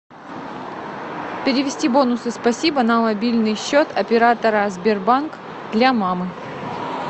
перевести бонусы спасибо на мобильный счет оператора сбербанк для мамы